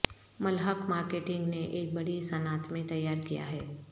ملحق marketing نے ایک بڑی صنعت میں تیار کیا ہے